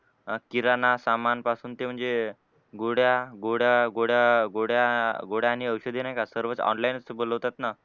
किराणा सामानपासून ते म्हणजे गोळ्या गोळ्या गोळ्या गोळ्या आणि औषधे नाही का सर्वच online च बोलावतात ना.